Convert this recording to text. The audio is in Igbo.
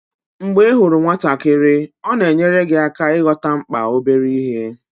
Mgbe ị hụrụ nwatakịrị, ọ na-enyere gị aka ịghọta mkpa obere ihe.